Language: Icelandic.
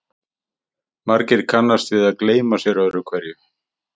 Margir kannast við að gleyma sér öðru hverju.